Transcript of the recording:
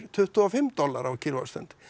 tuttugu og fimm dali á kílówattsstund